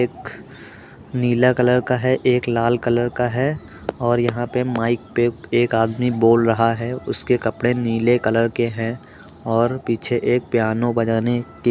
नीलें colour का है। एक लाल कलर का है और यहाँ पे माइक पे एक आदमी बोल रहा है। उसके कपड़े नीले कलर का हैं और पीछे एक पियानो बजाने की कोशिश कर रहा है।